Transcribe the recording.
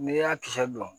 N'i y'a kisɛ bila